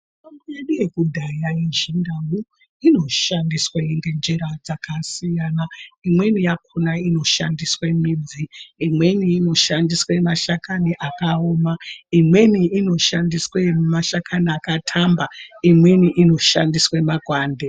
Mithombo yedu yekudhaya yeChindau inoshandiswa ngenjira dzakasiyana, imweni yakhona inoshandiswe midzi, imweni inoshandiswe mashakani akaoma, imweni inoshandiswe mashakani aka thamba, imweni inoshandiswe makwande.